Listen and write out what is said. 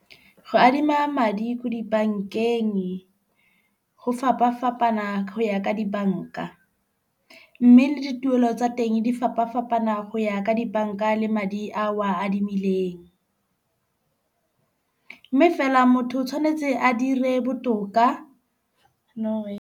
Go adima madi ko dibankeng go fapa fapana ho ya ka dibanka. Mme le dituelo tsa teng di fapa fapana go ya ka dibanka le madi a o o a adimileng. Mme fela motho o tshwanetse a dire botoka, no way .